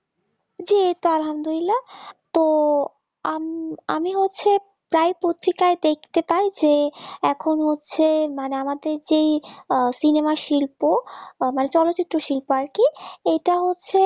জি আলহামদুলিল্লাহ তো আমি হচ্ছে প্রায় পত্রিকায় দেখতে পাই যে এখন হচ্ছে আমাদের যে cinema শিল্প চলচ্চিত্র শিল্প আর কি এইটা হচ্ছে